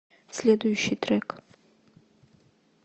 следующий трек